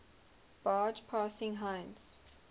barge passing heinz